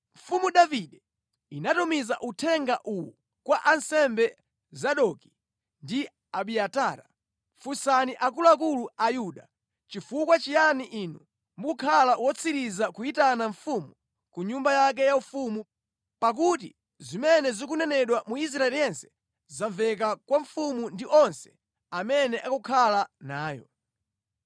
Mfumu Davide inatumiza uthenga uwu kwa ansembe Zadoki ndi Abiatara, “Funsani akuluakulu a Yuda, ‘Nʼchifukwa chiyani inu mukukhala otsiriza kuyitana mfumu ku nyumba yake yaufumu, pakuti zimene zikunenedwa mu Israeli yense zamveka kwa mfumu ndi onse amene akukhala nayo.